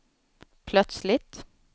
plötsligt